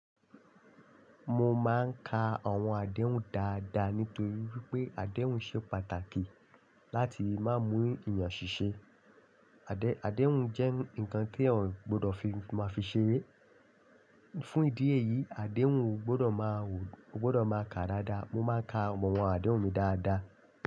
Mo máa ń ka àwọn àdéhùn dáadáa nítorí wípé àdéhùn ṣe pàtàkì láti má mú eyàn ṣiṣẹ́. Àdéhùn jẹ́ ǹkan tí èèyàn ọ gbọdọ̀ fi má fi ṣeré. Fún ìdí èyí, àdéhùn gbọdọ̀ má wò, ó gbọdọ̀ má ka dáadáa. Mo máa ń ka àwọn àdéhùn mi dáadáa.